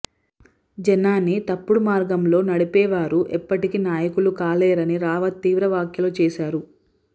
జనాన్ని తప్పుడు మార్గంలో నడిపేవారు ఎప్పటికీ నాయకులుకాలేరని రావత్ తీవ్ర వ్యాఖ్యలు చేశారు